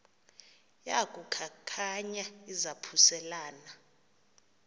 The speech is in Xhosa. yaku khankanya izaphuselana